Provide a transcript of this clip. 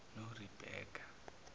norebeka